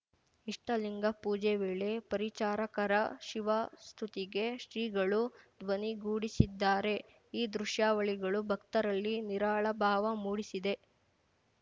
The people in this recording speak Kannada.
ಇಷ್ಟಲಿಂಗ ಪೂಜೆ ವೇಳೆ ಪರಿಚಾರಕರ ಶಿವಸ್ತುತಿಗೆ ಶ್ರೀಗಳು ಧ್ವನಿಗೂಡಿಸಿದ್ದಾರೆ ಈ ದೃಶ್ಯಾವಳಿಗಳು ಭಕ್ತರಲ್ಲಿ ನಿರಾಳ ಭಾವ ಮೂಡಿಸಿದೆ